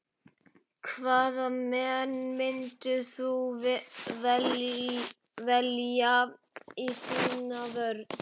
Hvaða menn myndir þú velja í þína vörn?